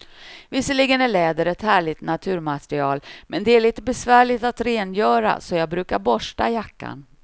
Visserligen är läder ett härligt naturmaterial, men det är lite besvärligt att rengöra, så jag brukar borsta jackan.